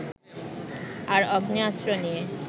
আর আগ্নেয়াস্ত্র নিয়ে